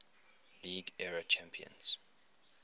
league era champions